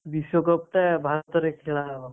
ବିଶ୍ଵ cup ଟା ଭାରତରେ ଖେଳା ହବ।